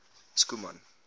schoeman